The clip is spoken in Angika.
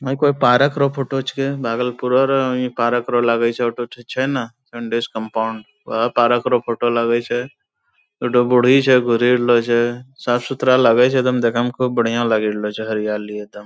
है कोनो पारक रो फोटो छे भागलपुरै रो ही पारक रो लगै छै हौ ठो छै ना कम्पाउण्ड वहा पारक रो फोटो लगै छै एक ठो बूढ़ी छै रहलो छै साफ-सुथरा लगै छै एगदम देखै म खूब बढियाँ लगि रहलो छै हरियाली एगदम।